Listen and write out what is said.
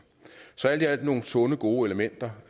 så alt i alt er det nogle sunde gode elementer